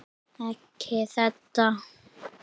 Ekki þetta.